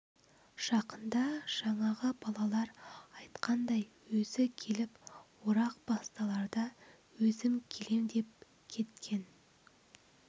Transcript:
жақында жаңағы балалар айтқандай өзі келіп орақ басталарда өзім келем деп кеткен